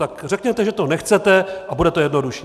Tak řekněte, že to nechcete, a bude to jednodušší.